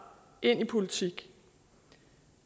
ind i politik